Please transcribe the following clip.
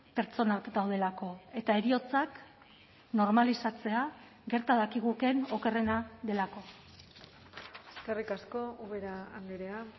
pertsonak daudelako eta heriotzak normalizatzea gerta dakigukeen okerrena delako eskerrik asko ubera andrea